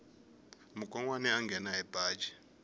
mukonwana a nghena hi baji